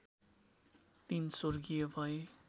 दिन स्वर्गीय भए